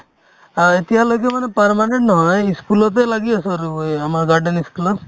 আৰ্ এতিয়ালৈকে মানে permanent নহয় ই school তে লাগি আছো আৰু অ এই আমাৰ garden ই school ত